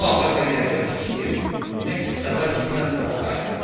Bu ağır və qəribə fikir əks-səda kimi Helstona qayıtdı.